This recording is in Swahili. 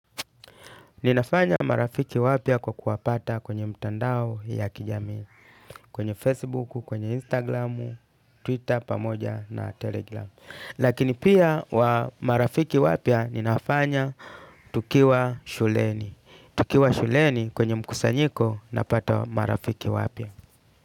Ninafanya marafiki wapya kwa kuwapata kwenye mtandao ya kijamii. Kwenye Facebook, kwenye Instagram, Twitter pamoja na Telegram. Lakini pia wa marafiki wapya ninafanya tukiwa shuleni. Tukiwa shuleni kwenye mkusanyiko napata marafiki wapya.